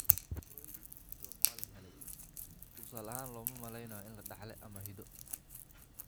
Froehlich syndrome waa la helay (ie, looma maleynayo in la dhaxlo ama hiddo).